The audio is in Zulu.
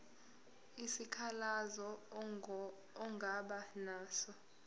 isikhalazo ongaba naso